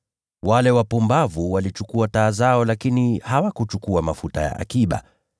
Wale wapumbavu walichukua taa zao lakini hawakuchukua mafuta ya akiba,